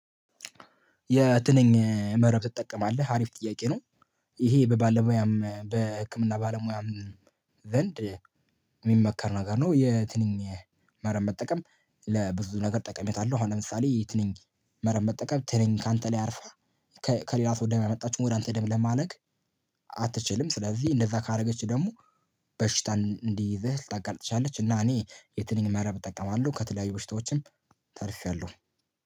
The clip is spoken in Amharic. የትንኝ መረብ ትጠቀማለህ? አሪፍ ጥያቄ ነው ይሄ በባለሙያም በህክምና ባለሙያም ዘንድ የሚመከር ነገር ነው የትንኝ መረብ መጠቀም ለብዙ ነገር ጠቀሜታ አለው አሁን ለምሳሌ ትንኝ መረብ መጠቀም ትንኝ ካንተ ላይ አያርፍም ከሌላ ሰው ደም የመጣችውን ወደ አንተ ደም ለማለቅ አትችልም ስለዚህ እንደዛ ካረገችህ ደግሞ በሽታ እንዲይዝህ ልታጋልጥ ትችላለች እና እኔ የትንኝ መረብ እጠቀማለሁ ከተለያዩ በሽታዎችም ተርፌያለሁ